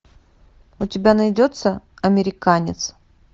у тебя найдется американец